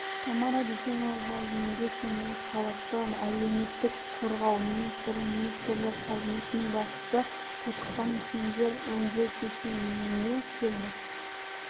тамара дүйсенова еңбек және халықты әлеуметтік қорғау министрі министрлер кабинетінің басшысы тотыққан кендерді өңдеу кешеніне келді